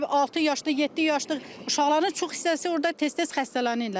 Bizdə orda altı yaşlı, yeddi yaşlı uşaqların çox hissəsi orda tez-tez xəstələnirlər.